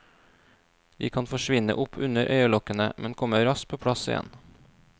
De kan forsvinne opp under øyelokkene, men kommer raskt på plass igjen.